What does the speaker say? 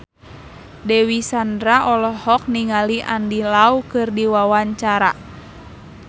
Dewi Sandra olohok ningali Andy Lau keur diwawancara